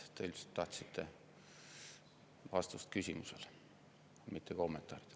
Te ilmselt tahtsite vastust küsimusele, mitte kommentaare.